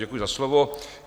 Děkuji za slovo.